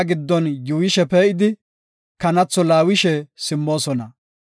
Enti katamaa giddon yuuyishe pee7idi, kanatho laawishe simmoosona.